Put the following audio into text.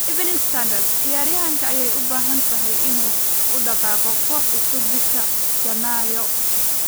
(Evening Standard) Ciyaaryahankee ayay u badan tahay inuu u dhaqaaqo koox cusub bisha Janaayo?